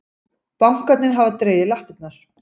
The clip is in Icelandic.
Bankarnir hafa dregið lappirnar